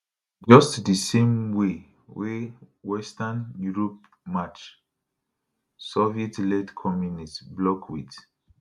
just di same way wey western europe match sovietled communist bloc wit